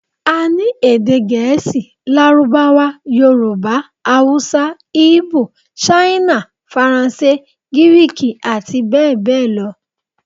A ní èdè Gẹ̀ẹ́sì, Lárúbáwá, Yorùbá, Haúsá, ígbò, ṣíínà, Faransé, Gíríìkì àti bẹ́ẹ̀ bẹ́ẹ̀ lọ l